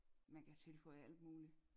Man kan tilføje alt muligt